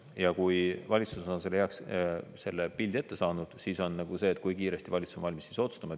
Ja kui valitsus on selle pildi ette saanud, siis, kui kiiresti valitsus on valmis otsustama.